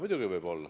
Muidugi võib olla.